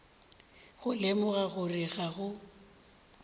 go lemoga gore ga go